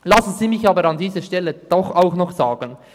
Lassen Sie mich aber an dieser Stelle doch noch etwas sagen.